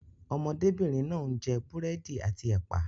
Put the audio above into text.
Ọmọdébìnrin náà ń jẹ búrẹ́dì àti ẹ̀pà.